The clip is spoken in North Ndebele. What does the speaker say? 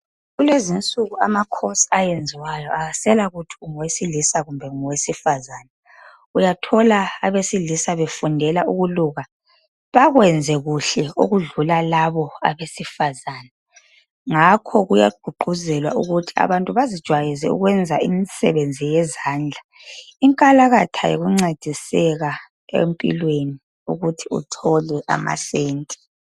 Kulezinsuku ama course ayenziwayo awasela kuthi ungowesilisa kumbe ungowesifazana uyathola abesilisa befundela ukuluka bekwenze kuhle okudlula labo abesifazana ngakho kuyagqugquzelwa ukuthi abantu bazijwayeze ukwenza imisebenzi yezandla inkalakatha yikuncediseka empilweni ukuthi uthole ama senti.